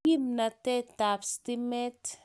Kimnatet ab stimet